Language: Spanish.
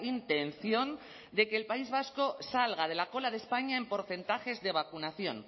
intención de que el país vasco salga de la cola de españa en porcentajes de vacunación